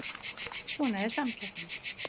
Svona er samkeppnin